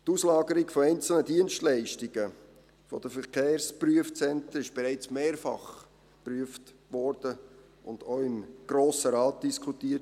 Die Auslagerung von einzelnen Dienstleistungen der Verkehrsprüfzentren wurde bereits mehrfach geprüft und auch im Grossen Rat diskutiert.